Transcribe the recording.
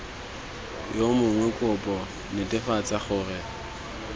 yo mongwe kopo netefatsa gore